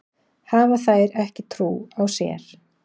Hafa þær ekki trú á sér?